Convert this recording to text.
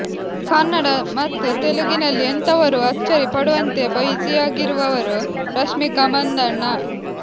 ಕನ್ನಡ ಮತ್ತು ತೆಲುಗಿನಲ್ಲಿ ಎಂಥವರೂ ಅಚ್ಚರಿ ಪಡುವಂತೆ ಬ್ಯುಸಿಯಾಗಿರುವವರು ರಶ್ಮಿಕಾ ಮಂದಣ್ಣ